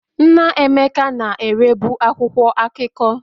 Nna Emeka na-erebu akwụkwọ akụkọ.